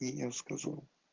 и не расскажу